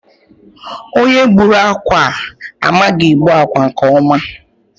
Onye gbùrù ákwà a, amaghị egbu akwa nke ọma.